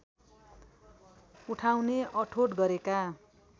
उठाउने अठोट गरेका